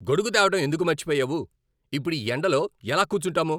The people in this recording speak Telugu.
గొడుగు తేవడం ఎందుకు మర్చిపోయావు? ఇప్పుడు ఈ ఎండలో ఎలా కూర్చుంటాము?